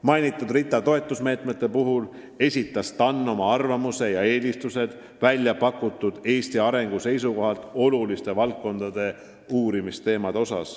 Mis puutub RITA toetusmeetmesse, siis TAN on välja pakkunud oma arvamuse ja eelistused, missugused on Eesti arengu seisukohalt olulised valdkondlikud uurimisteemad.